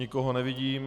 Nikoho nevidím.